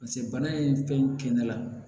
bana ye fɛn ne la